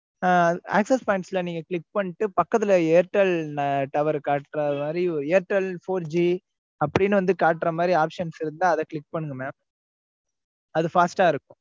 ஆஹ் access points ல நீங்க click பண்ணீட்டு பக்கத்துல airtel tower காட்டுற மாதிரி airtel four G அப்டீன்னு வந்து காட்டுற மாதிரி options இருந்தா அத click பண்ணனும் mam. அது fast ஆ இருக்கும்.